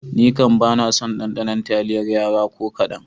Nikam bana son ɗaɗanon taliyar Yara ko kaɗan.